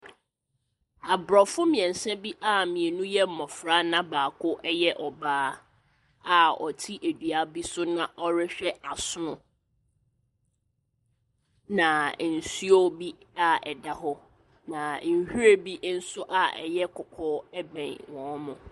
Aborɔfo mmeɛnsa bi a mmienu yɛ mmɔfra na baako yɛ ɔbaa, a wɔte dua bi so na wɔrehwɛ asono. Na nsuo bi a ɛda hɔ, na nhwiren bi nso a ɛyɛ kɔkɔɔ bɛn wɔn.